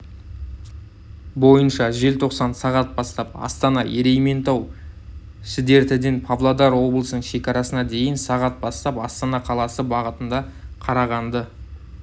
бойынша желтоқсан сағат бастап астана-ерейментау-шідертіден павлодар облысының шекарасына дейін сағат бастап астана қаласы бағытында қарағанды